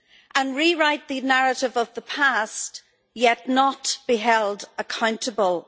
and rewrite the narrative of the past, yet not be held accountable.